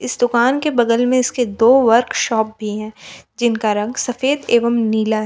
दुकान के बगल में इसके दो वर्कशॉप भी हैं जिनका रंग सफेद एवं नीला है।